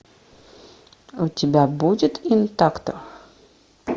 у тебя будет интакто